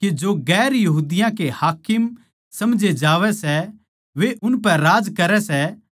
न्यू सुणकै बाकी दस चेल्लें याकूब अर यूहन्ना तै चिड़गे